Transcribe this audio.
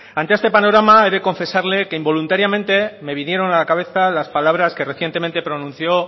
antes este panorama he de confesarle que involuntariamente me vinieron a la cabeza las palabras que recientemente pronuncio